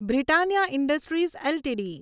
Britannia industries LTD